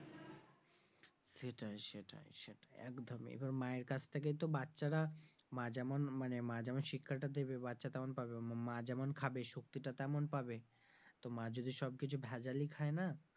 সেটাই সেটাই সেটাই একদমই এবার মায়ের কাছ থেকেই তো বাচ্চারা মা যেমন মানে মা যেমন শিক্ষাটা দিবে বাচ্চা তেমন পাবে মা যেমন খাবে শক্তিটা তেমন পাবে তো মা যদি সবকিছু ভেজালি খায় না,